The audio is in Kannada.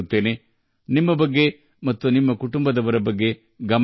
ಅಲ್ಲಿಯವರೆಗೆ ದಯವಿಟ್ಟು ನಿಮ್ಮ ಮತ್ತು ನಿಮ್ಮ ಕುಟುಂಬದವರ ಬಗ್ಗೆಯೂ ಕಾಳಜಿ ವಹಿಸಿ